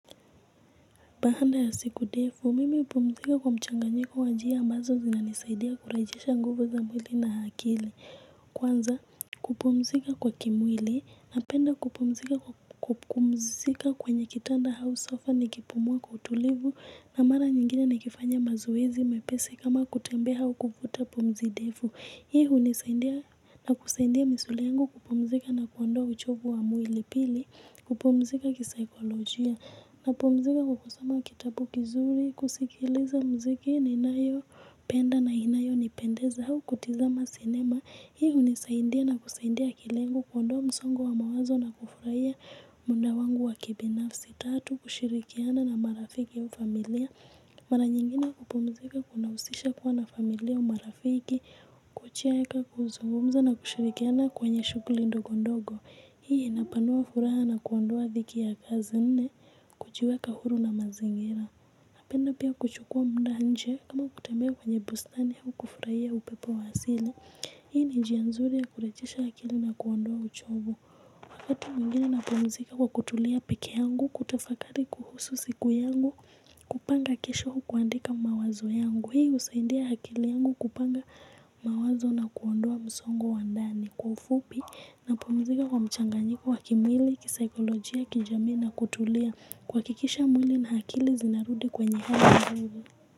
Bahanda ya siku defu, mimi upumzika kwa mchanganyiko wa njia ambazo zina nisaidia kurejesha nguvu za mwili na hakili. Kwanza, kupumzika kwa kimwili napenda kupumzika kwenye kitanda hau sofa nikipumua kwa utulivu na mara nyingine nikifanya mazoezi mepesi kama kutembea hau kufuta pumzi defu. Hii unisaindia na kusaindia misuli yangu kupumzika na kuondoa uchovu wa mwili pili, kupumzika kisaikolojia, napumzika kwa kusoma kitabu kizuri, kusikiliza mziki, ninayo, penda na inayo, nipendeza hau, kutizama sinema. Hi unisaindia na kusaidia akili yangu kuondoa msongo wa mawazo na kufurahia munda wangu wa kibinafsi. Tatu kushirikiana na marafiki au familia. Maranyingine kupumzika kunausisha kuwa na familia au marafiki. Kucheka kuzungumza na kushirikiana kwenye shukuli ndogo ndogo. Hii inapanua furaha na kuondoa dhiki ya kazi nne. Kuchiweka huru na mazingira. Napenda pia kuchukua munda nje kama kutembea kwenye bustani au kufurahia upepo wa asili. Hii ni jianzuri ya kurejesha akili na kuondoa uchovu. Wakati mwingine napumzika kwa kutulia peke yangu, kutafakari kuhusu siku yangu, kupanga kisho au kuhandika mawazo yangu. Hii usaindia hakili yangu kupanga mawazo na kuondoa msongo wa ndani. Kwa ufupi napumzika kwa mchanganyiko wa kimwili, kisaikolojia, kijamii na, kutulia, kuwakikisha mwili na hakili zinarudi kwenye nguvu.